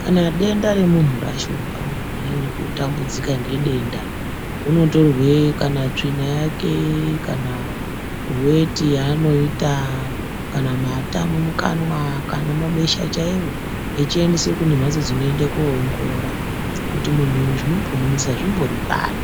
Kana denda remuntu rashupa muntu anyanya kutambudzika ngedenda unotorwe kana tsvina yake, kana weti yaanoita, kana mata mumukanwa, kana mabesha chaiwo echiendeswe kune mphatso dzinoenda koongorora kuti muntu uyu zvinombomunetsa zvimbori pari